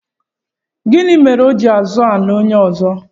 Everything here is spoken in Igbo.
Gịnị mere o ji azọ ala onye ọzọ?